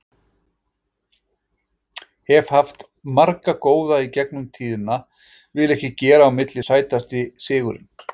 Hef haft marga góða í gegnum tíðina, vil ekki gera upp á milli Sætasti sigurinn?